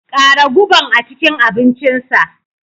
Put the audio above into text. Ƙara guban a cikin abincinsa.